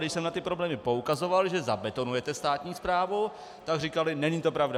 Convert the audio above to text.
Když jsem na ty problémy poukazoval, že zabetonujete státní správu, tak říkali: není to pravda.